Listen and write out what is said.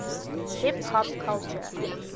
hip hop culture